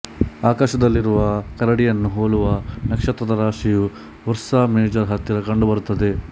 ಆಕಾಶದಲ್ಲಿರುವ ಕರಡಿಯನ್ನು ಹೋಲುವ ನಕ್ಷತ್ರದ ರಾಶಿಯು ಉರ್ಸಾ ಮೇಜರ್ ಹತ್ತಿರ ಕಂಡು ಬರುತ್ತದೆ